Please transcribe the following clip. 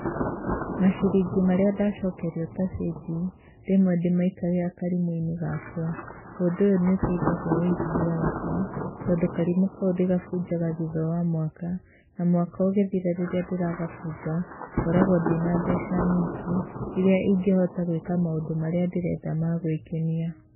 Maciringi marĩa ndacokerio ta cĩnji, rĩmwe ndĩmaikagia karimũ-inĩ gakwa. Ũndũ ũyũ nĩ ũteithagia wũigithia wakwa, tondũ karĩmũ kau ndĩgabunjaga thutha wa mwaka, na mwaka ũgĩthira rĩrĩa ndĩragabunja, ngoragwo ndĩna mbeca nyingĩ, iria ingĩhota gũĩka maũndũ marĩa ndĩrenda ma gũĩkenia.